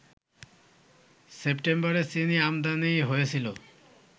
সেপ্টেম্বরে চিনিআমদানি হয়েছিল